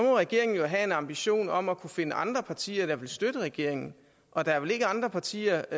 regeringen jo have en ambition om at kunne finde andre partier der vil støtte regeringen og der er vel ikke andre partier